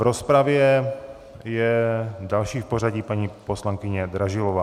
V rozpravě je další v pořadí paní poslankyně Dražilová.